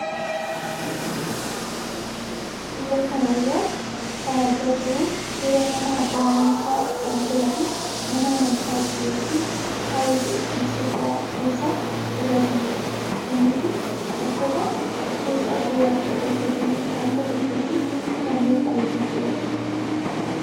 Suuraa kana irraa kan argaa jirru suuraa nama abbaa amantaa kan ta'ee fi mana amantaa ortodoksii tawaahidoo Itoophiyaa keessa tajaajiludha. Namni kun uffata fooxaa gurraacha uffatee harka tokkotti fannoo qabatee jirudha.